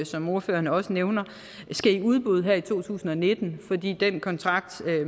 som ordføreren også nævner skal i udbud her i to tusind og nitten fordi den kontrakt